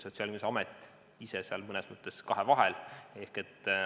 Sotsiaalkindlustusamet ise on seal tegelikult mõnes mõttes kahevahel.